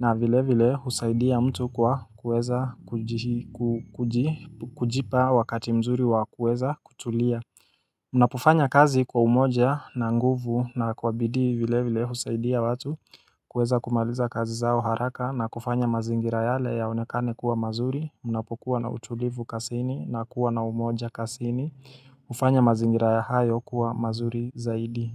na vile vile husaidia mtu kwa kuweza kujipa wakati mzuri wa kuweza kutulia Unapofanya kazi kwa umoja na nguvu na kwabidi vile vile husaidia watu kuweza kumaliza kazi zao haraka na kufanya mazingira yale yaonekane kuwa mazuri Unapokuwa na utulivu kasini na kuwa na umoja kasini hufanya mazingira ya hayo kuwa mazuri zaidi.